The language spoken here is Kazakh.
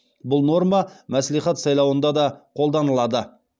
бұл норма мәслихат сайлауында да қолданылады